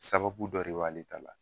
Sababu dɔ re b'ale t'a la